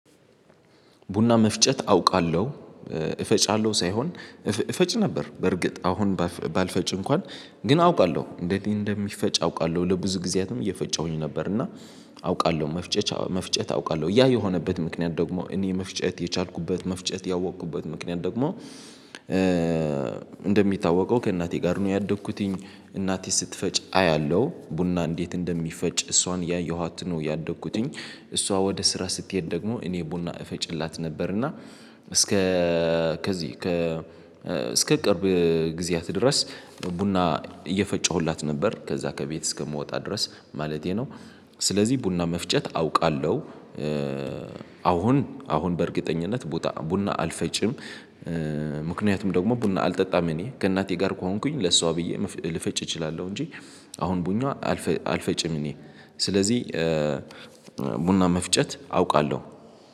ቡና መፍጨት አውቃለሁ እፈጫለሁ ሳይሆን እፈጭ ነበር በርግጥ አሁን ባልፈጭ እንኳን ግን አውቃለሁ እንዴት እንደሚፈጭ አውቃለሁ ለብዙ ጊዜያትም እየፈጨሁኝ ነበር። እና አውቃለሁ መፍጨት አውቃለሁ። ያ የሆነበት ምክንያት ደግሞ እኔ መፍጨት የቻልኩበት መፍጨት ያወቅኩበት ምክንያት ደግሞ እንደሚታወቀው ከእናቴ ጋር ነው። ያደግኩትኝ እናቴ ስትፈጭ አያለሁ ቡና እንዴት እንደሚፈጭ እሷን ያየኋት ነው ያደግኩትኝ። እሷ ወደ ስራ ስትሄድ ደግሞ እኔ ቡና እፈጭላት ነበርና። እስከ ከዚህ ከ እስከ ቅርብ ጊዜያት ድረስ ቡና እየፈጨሁላት ነበር ከዛ ከቤት እስከምወጣ ድረስ ማለቴ ነው። ስለዚህ ቡና መፍጨት አውቃለሁ። አሁን አሁን በእርግጠኝነት ቡና አልፈጭም። ምክንያቱም ደግሞ ቡና አልጠጣም እኔ ከእናቴ ጋር ከሆንኩኝ ለሷ ብዬ ልፈጭ እችላለሁ እንጂ አሁን ቡና አልፈጭም። እኔ ስለዚህ ቡና መፍጨት አውቃለሁ።